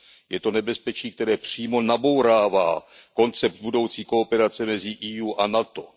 Je to nebezpečí, které přímo nabourává koncept budoucí kooperace mezi EU a NATO.